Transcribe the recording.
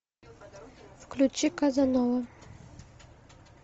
включи казанова